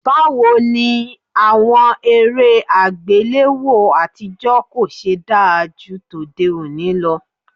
Báwo ni àwọn eré àgbéléwò àtijọ́ kò ṣe da ju tòde òní lọ?